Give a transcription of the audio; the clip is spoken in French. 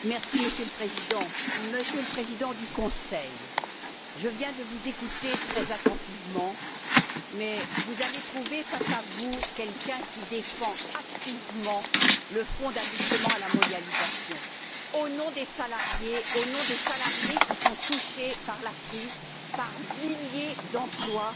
Monsieur le Président, Monsieur le Président du Conseil, je viens de vous écouter très attentivement, mais vous allez trouver face à vous quelqu'un qui défend activement le Fonds d'ajustement à la mondialisation au nom des salariés qui sont touchés par la crise, avec des milliers d'emplois